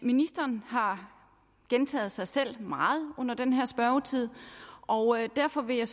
ministeren har gentaget sig selv meget under den her spørgetid og derfor vil jeg